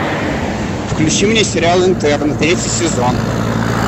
включи мне сериал интерны третий сезон